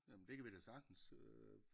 Jamen det kan vi da sagtens øh